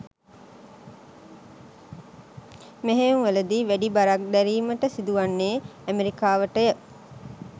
මෙහෙයුම්වලදී වැඩි බරක් දැරීමට සිදුවන්නේ ඇමෙරිකාවටය.